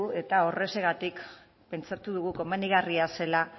eta horrexegatik pentsatu dugu komenigarria zela